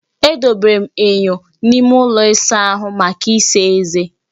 Edobere m enyo n'ime ụlọ ịsa ahụ maka ịsa eze